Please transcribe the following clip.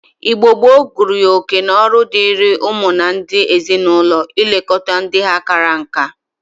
Igbo gboo gụrụ ya oke na ọrụ diri ụmụ na ndi ezi-na-ulo ilekọta ndi ha kara nka.